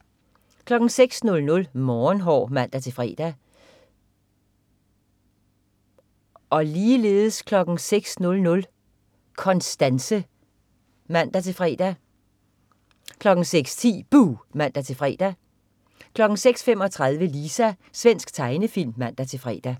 06.00 Morgenhår (man-fre) 06.00 Konstanse (man-fre) 06.10 Buh! (man-fre) 06.35 Lisa. Svensk tegnefilm (man-fre)